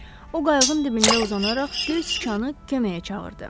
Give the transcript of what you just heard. O qayığın dibində uzanaraq Göz Sichanı köməyə çağırdı.